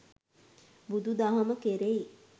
බුදු දහම කෙරෙහි